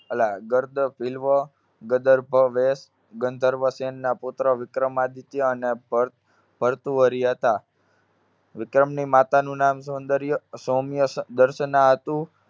અલા ગદર્ભ ગંધર્વસેનના પુત્ર વિક્રમાદિત્ય અને ભર~ભર્તુહરિ હતા. વિક્રમની માતાનું નામ સૌંદર્ય સૌમ્ય સ~દર્શના હતું.